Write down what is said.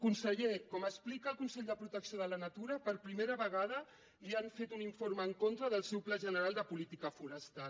conseller com explica el consell de protecció de la natura per primera vegada li han fet un informe en contra del seu pla general de política forestal